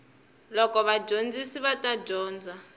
loko vadyondzi va ta dyondza